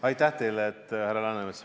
Aitäh teile, härra Läänemets!